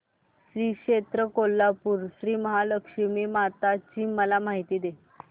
श्री क्षेत्र कोल्हापूर श्रीमहालक्ष्मी माता ची मला माहिती दे